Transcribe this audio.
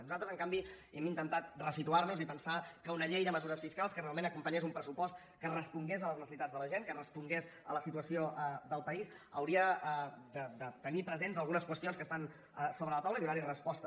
nosaltres en canvi hem intentat ressituar nos i pensar que una llei de mesures fiscals que realment acompanyés un pressupost que respongués a les necessitats de la gent que respongués a la situació del país hauria de tenir presents algunes qüestions que estan sobre la taula i donar hi resposta